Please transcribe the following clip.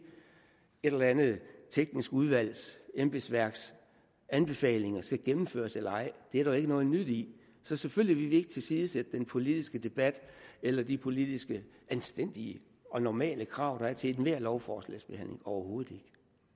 et eller andet teknisk udvalgs embedsværks anbefalinger skal gennemføres eller ej det er der jo ikke noget nyt i så selvfølgelig vil vi ikke tilsidesætte den politiske debat eller de politiske anstændige og normale krav der er til ethvert lovforslags behandling overhovedet ikke